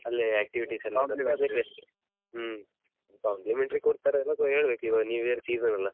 ಅಲ್ಲೇ activities ಎಲ್ಲಾ . ಹ್ಮ್ complimentary ಕೊಡ್ತಾರಾ ಎಲ್ಲಾಸ ಹೇಳ್ಬೇಕು ಈವಾಗ new year season ಅಲ್ಲ.